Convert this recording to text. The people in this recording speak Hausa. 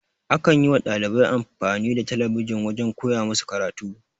A kan yi wa dalibai amfani da talabijin wajen koya musu karatu.